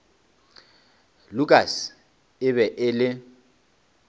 lukas e be e le